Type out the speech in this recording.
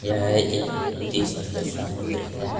यह एक बहुत ही सुंदर समुद्र है।